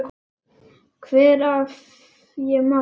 Hvar, ef ég má spyrja?